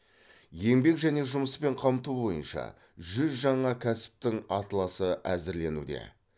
еңбек және жұмыспен қамту бойынша жүз жаңа кәсіптің атласы әзірленуде